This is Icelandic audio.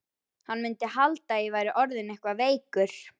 Hann mundi halda að ég væri orðinn eitthvað veikur.